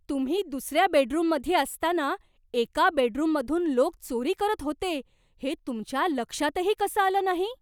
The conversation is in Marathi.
तुम्ही दुसऱ्या बेडरुममध्ये असताना एका बेडरूममधून लोक चोरी करत होते हे तुमच्या लक्षातही कसं आलं नाही?